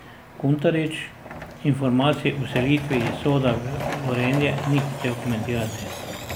Kuntarič informacij o selitvi iz Soda v Gorenje ni hotel komentirati.